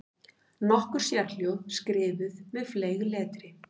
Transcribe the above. Nokkur sérhljóð skrifuð með fleygletri.